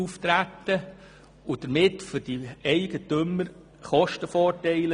Damit entstehen für die Eigentümer Kostenvorteile.